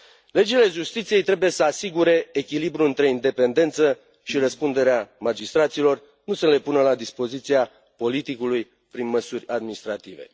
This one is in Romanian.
Legile justiției trebuie să asigure echilibrul între independență și răspunderea magistraților, nu să le pună la dispoziția politicului, prin măsuri administrative.